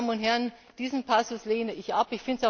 Meine Damen und Herren, diesen Passus lehne ich ab!